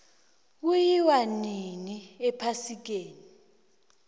kuyiwa winni ephasikeni